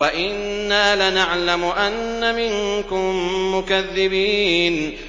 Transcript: وَإِنَّا لَنَعْلَمُ أَنَّ مِنكُم مُّكَذِّبِينَ